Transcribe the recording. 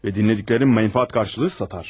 Və dinlədiklərini mənfaət qarşılığı satar.